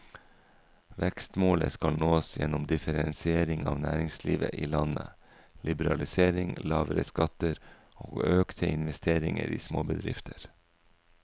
Vekstmålet skal nås gjennom differensiering av næringslivet i landet, liberalisering, lavere skatter og økte investeringer i småbedrifter.